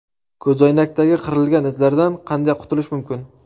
Ko‘zoynakdagi qirilgan izlardan qanday qutulish mumkin?.